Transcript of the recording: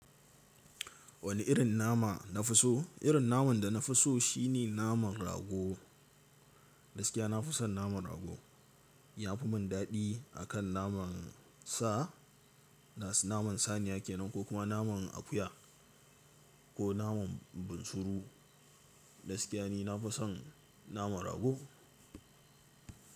Wani irin nama na fi so? Irin naman da na fi so shine naman rago. Gaskiya na fi son naman rago. Ya fi mun daɗi akan naman sa, naman saniya kenan ko kuma naman akuya ko naman bunsuru. Gaskiya ni na fi son naman rago.